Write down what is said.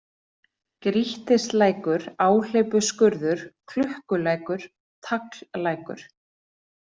Grýttilækur, Áhleypuskurður, Klukkulækur, Tagllækur